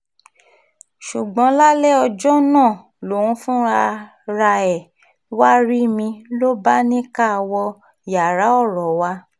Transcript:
ṣùgbọ́n lálẹ́ ọjọ́ náà lòun fúnra ẹ̀ wàá rí mi ló bá ní ká wọ yàrá ọ̀rọ̀ wa